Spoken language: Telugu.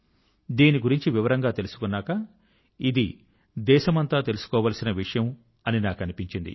దీని గురించి వివరంగా తెలుసుకున్నాక ఇది దేశమంతా తెలుసుకోవాల్సిన విషయం అని నాకు అనిపించింది